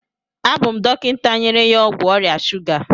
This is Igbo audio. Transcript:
Abụ m dọkịta nyere ya ọgwụ ọrịa shuga.